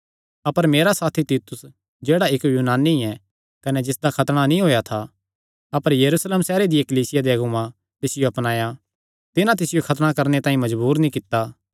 अपर मेरा साथी तीतुस जेह्ड़ा इक्क यूनानी ऐ कने जिसदा खतणा नीं होएया था अपर यरूशलेम सैहरे दिया कलीसिया दे अगुआं तिसियो अपनाया तिन्हां तिसियो खतणा करणे तांई मजबूर नीं कित्ता